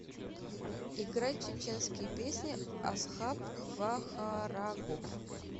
играй чеченские песни асхаб вахарагов